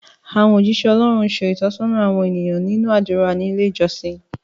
Àwọn ójíṣẹ́ Ọlọ́run ń ṣe ìtọ́sọ́nà àwọn ènìyàn nínú àdúrà ní ilé ìjọsìn